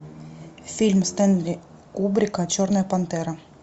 фильм стэнли кубрика черная пантера